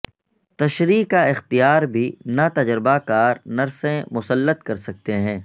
تشریح کا اختیار بھی ناتجربہ کار نرسیں مسلط کر سکتے ہیں